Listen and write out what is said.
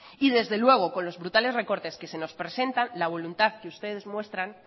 y desde luego con los brutales recortes que se nos presentan la voluntad que ustedes muestran